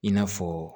I n'a fɔ